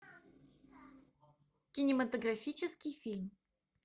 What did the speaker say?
кинематографический фильм